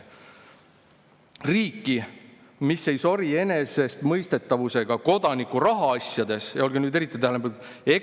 – P. S.] Riiki, mis ei sori enesestmõistetavusega Kodaniku rahaasjades [ja olge nüüd eriti tähelepanelikud!